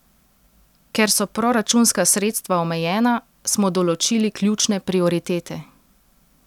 Ker so proračunska sredstva omejena, smo določili ključne prioritete.